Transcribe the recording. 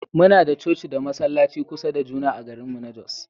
Muna da coci da masallaci kusa da juna a garinmu na Jos